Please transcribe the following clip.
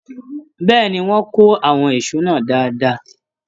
Bẹ́ẹ̀ni, wọ́n kó àwọn ìṣó náà dáadáa.